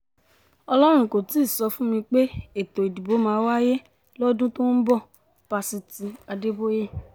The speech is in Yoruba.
ọlọ́run kò tí ì sọ fún mi pé ètò ìdìbò máa wáyé lọ́dún tó ń bọ̀-pásitì adéboye